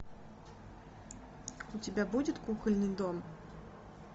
у тебя будет кукольный дом